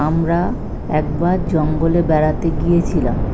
আমরা একবার জঙ্গলে বেড়াতে গিয়েছিলাম।